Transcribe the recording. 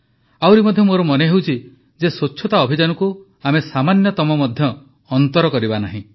ଆହୁରି ମଧ୍ୟ ମୋର ମନେହେଉଛି ଯେ ସ୍ୱଚ୍ଛତା ଅଭିଯାନକୁ ଆମେ ସାମାନ୍ୟତମ ମଧ୍ୟ ଅନ୍ତର କରିଦେବା ନାହିଁ